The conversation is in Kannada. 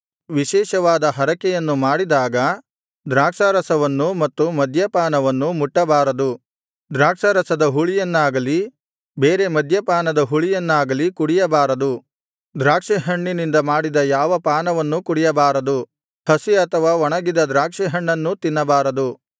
ವಿಶೇಷವಾದ ಹರಕೆಯನ್ನು ಮಾಡಿದಾಗ ದ್ರಾಕ್ಷಾರಸವನ್ನೂ ಮತ್ತು ಮದ್ಯಪಾನವನ್ನೂ ಮುಟ್ಟಬಾರದು ದ್ರಾಕ್ಷಾರಸದ ಹುಳಿಯನ್ನಾಗಲಿ ಬೇರೆ ಮದ್ಯಪಾನದ ಹುಳಿಯನ್ನಾಗಲಿ ಕುಡಿಯಬಾರದು ದ್ರಾಕ್ಷಿ ಹಣ್ಣಿನಿಂದ ಮಾಡಿದ ಯಾವ ಪಾನವನ್ನೂ ಕುಡಿಯಬಾರದು ಹಸಿ ಅಥವಾ ಒಣಗಿದ ದ್ರಾಕ್ಷಿ ಹಣ್ಣನ್ನೂ ತಿನ್ನಬಾರದು